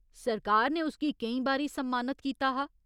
सरकार ने उस गी केईं बारी सम्मानत कीता हा।